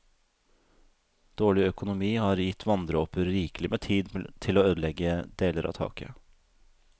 Dårlig økonomi har gitt vanndråper rikelig med tid til å ødelegge deler av taket.